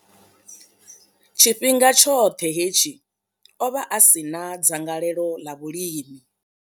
Tshifhinga tshoṱhe hetshi, o vha a si na dzangalelo ḽa vhulimi.